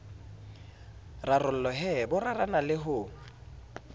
rarolohe bo rarana le ho